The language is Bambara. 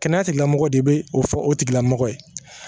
Kɛnɛya tigilamɔgɔ de bɛ o fɔ o tigilamɔgɔ ye